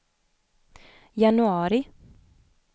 januari